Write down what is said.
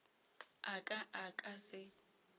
a ka a ka se